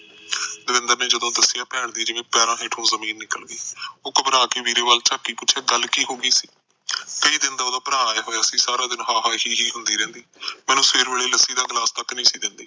ਦਵਿੰਦਰ ਨੇ ਜਦੋ ਦੱਸਿਆ ਭੈਣ ਦੇ ਪੈਰਾਂ ਹੇਠੋ ਜਮੀਨ ਨਿਕਲ ਗਈ ਉਹ ਘਬਰਾ ਕੇ ਵੀਰੇ ਵੱਲ ਬੋਲੀ ਗੱਲ ਕੀ ਹੋਗੀ ਸੀ ਕਈ ਦਿਨ ਉਹਦਾ ਭਰਾ ਆਇਆ ਸਾਰਾ ਦਿਨ ਹਾਹਾ ਹੀਹੀ ਹੁੰਦੀ ਰਹਿੰਦੀ ਮੈਨੂੰ ਸਵੇਰ ਵੇਲੇ ਲੱਸੀ ਦਾ ਗਿਲਾਸ ਤੱਕ ਨਹੀਂ ਸੀ ਦਿੰਦੀ